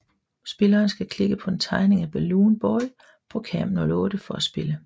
Spilleren skal klikke på en tegning af Baloon boy på cam 08 for at spille